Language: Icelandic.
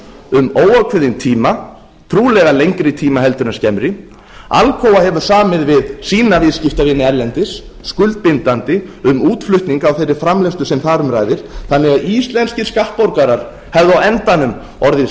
um óákveðinn tíma trúlega lengri tíma en skemmri alcoa hefur samið við sína viðskiptavini erlendis skuldbindandi um útflutning á þeirri framleiðslu sem þar umræða þannig að íslenskir skattborgarar hefðu á endanum orðið